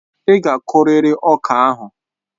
Ị́ ga akuriri ọka ahụ!